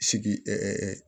Sigi